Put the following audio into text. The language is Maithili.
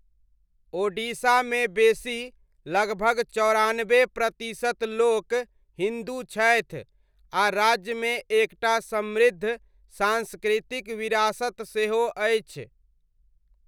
ओडिशामे बेसी, लगभग चौरानबे प्रतिशत लोक हिन्दू छथि आ राज्यमे एकटा समृद्ध सांस्कृतिक विरासत सेहो अछि।